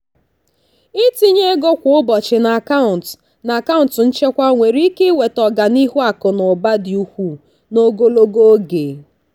ịtinye ego kwa ụbọchị n'akaụntụ n'akaụntụ nchekwa nwere ike iweta ọganihu akụ na ụba dị ukwuu n'ogologo oge.